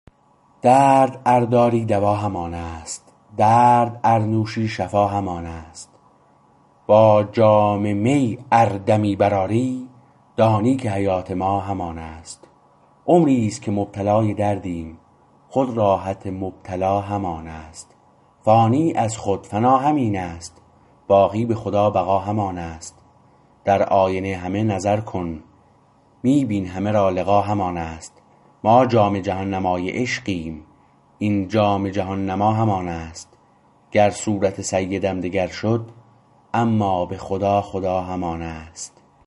درد ار داری دوا همان است درد ار نوشی شفا همان است با جام می ار دمی برآری دانی که حیات ما همان است عمریست که مبتلای دردیم خود راحت مبتلا همان است فانی از خود فنا همین است باقی به خدا بقا همان است در آینه همه نظر کن می بین همه را لقا همان است ما جام جهان نمای عشقیم این جام جهان نما همان است گر صورت سیدم دگر شد اما به خدا خدا همان است